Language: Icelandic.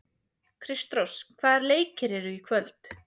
Kristrós, hvaða leikir eru í kvöld?